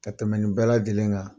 Ka tɛmɛ nin bɛ lajɛlen nka